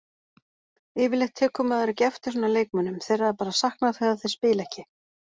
Yfirleitt tekur maður ekki eftir svona leikmönnum, þeirra er bara saknað þegar þeir spila ekki.